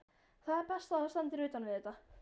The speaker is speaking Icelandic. Það er best, að þú standir utan við þetta.